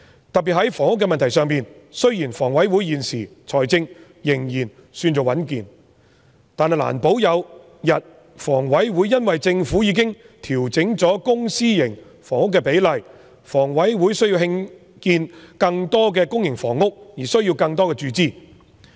特別在房屋的問題上，雖然香港房屋委員會現時財政仍然尚算穩健，但難保一天因為政府已經調整公私營房屋比例，房委會因需要興建更多公營房屋而需要更多注資。